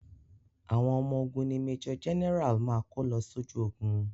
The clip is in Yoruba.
Àwọn ọmọ ogun ni Major general máa kó lọ sójú ogun.